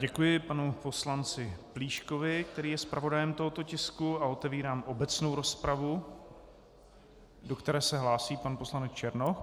Děkuji panu poslanci Plíškovi, který je zpravodajem tohoto tisku, a otevírám obecnou rozpravu, do které se hlásí pan poslanec Černoch.